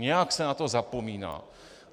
Nějak se na to zapomíná.